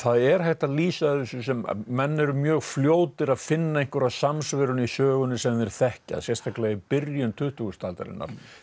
er hægt að lýsa þessu sem menn eru mjög fljótir að finna einhverja samsvörun í sögunni sem þeir þekkja sérstaklega í byrjun tuttugustu aldarinnar þá